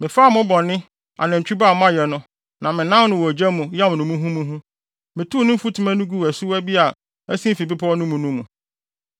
Mefaa mo bɔne, nantwi ba a moayɛ no, na menan no wɔ gya mu yam no muhumuhu. Metow ne mfutuma no guu asuwa bi a ɛsen fi bepɔw no mu no mu.